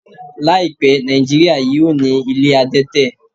Láìpẹ́, Nàìjíríà yóò ní ilé adẹ́tẹ̀